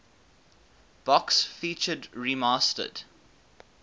box featured remastered